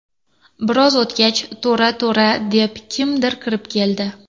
Biroz o‘tgach, ‘To‘ra, To‘ra’ deb, kimdir kirib keldi.